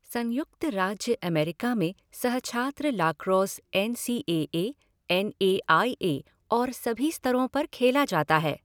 संयुक्त राज्य अमेरिका में सहछात्र lacrosse N C A A, N A I A और सभा स्तरों पर खेला जाता है।